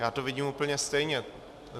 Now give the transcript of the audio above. Já to vidím úplně stejně.